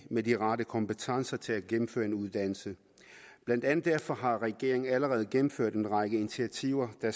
med de rette kompetencer til at gennemføre en uddannelse blandt andet derfor har regeringen allerede gennemført en række initiativer der